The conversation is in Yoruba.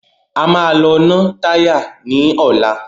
A máa lọ ná táyà ní ọ̀la.